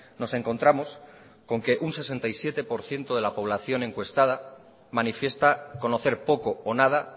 nos encontramos con que un sesenta y siete por ciento de la población encuestada manifiesta conocer poco o nada